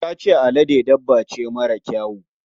Ta ce alade dabba ce mara kyawu.